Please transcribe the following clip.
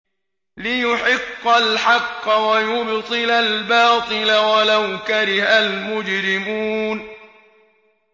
لِيُحِقَّ الْحَقَّ وَيُبْطِلَ الْبَاطِلَ وَلَوْ كَرِهَ الْمُجْرِمُونَ